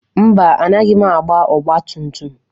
Mba, anaghị m agba ọgba tum tum.